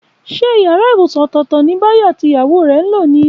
Ṣé yàrá ibùsùn ọ̀tọ̀ọ̀tọ̀ ni Báyọ̀ àti ìyàwó rẹ̀ ń lò ní?